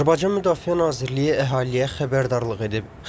Azərbaycan Müdafiə Nazirliyi əhaliyə xəbərdarlıq edib.